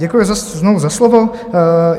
Děkuji znovu za slovo.